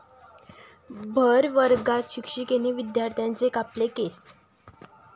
भरवर्गात शिक्षिकेनं विद्यार्थ्याचे कापले केस!